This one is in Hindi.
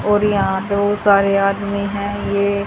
और यहां पे बहुत सारे आदमी है ये--